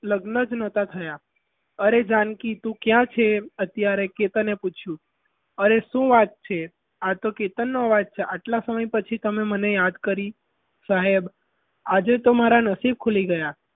લગ્ન જ નેતા થયા અરે જાનકી તું ક્યાં છે અત્યારે કે તને પૂછ્યું અરે શું વાત છે આ તો કેતન નો અવાજ છે આટલા સમય પછી તમે મને યાદ કરી સાહેબ આજે તો મારા નસીબ ખુલી ગયા.